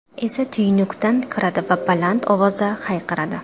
esa tuynukdan kiradi va baland ovozda hayqiradi.